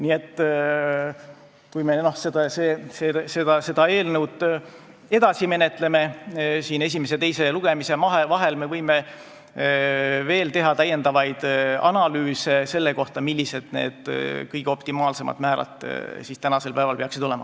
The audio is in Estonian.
Nii et kui me seda eelnõu edasi menetleme, siis siin esimese ja teise lugemise vahel me võime veel teha analüüse selle kohta, millised need optimaalsed määrad peaksid olema.